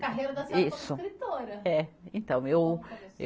Carreira da senhora como escritora. É, então, eu, eh